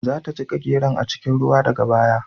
Za ta jiƙa geron a cikin ruwa daga baya.